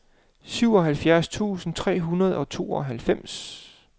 syvoghalvfjerds tusind tre hundrede og tooghalvfems